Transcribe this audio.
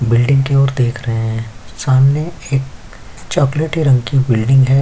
Building की ओर देख रहे हैं सामने एक चॉकलेटी रंग की बिल्डिंग है।